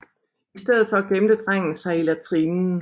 I stedet for gemte drengen sig i latrinen